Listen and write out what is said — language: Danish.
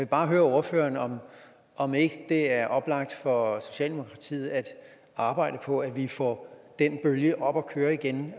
bare høre ordføreren om ikke det er oplagt for socialdemokratiet at arbejde for at vi får den bølge op at køre igen